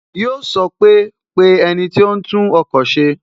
Yo sọ pé "Pe ẹniti ó ń tún ọkọ̀ se"